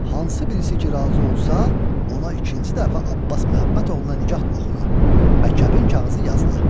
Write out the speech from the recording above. Hansı birisi ki, razı olsa, ona ikinci dəfə Abbas Məhəmməd oğluna nikah oxuna və kəbin kağızı yazıla.